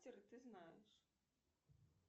ты знаешь